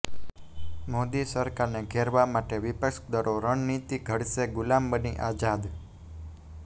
મોદી સરકારને ઘેરવા માટે વિપક્ષ દળો રણનીતિ ઘડશેઃગુલામબની આઝાદ